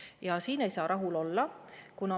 Ja siin ei saa rahul olla.